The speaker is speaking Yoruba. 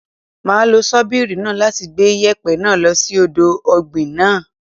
Máa lo ṣọ́bìrì náà láti gbẹ́ yèpẹ̀ náà lo sí ọ̀dọ̀ ọ̀gbìn náà.